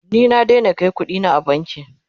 ni na Daina Kai ƙuɗina banki